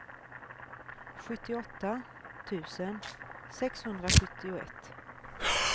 sjuttioåtta tusen sexhundrasjuttioett